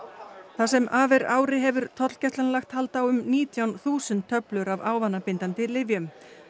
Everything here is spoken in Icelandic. það sem af er ári hefur tollgæslan lagt hald á um nítján þúsund töflur af ávanabindandi lyfjum